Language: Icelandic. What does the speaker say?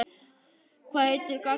Hvað heitir gatan þar sem við vorum?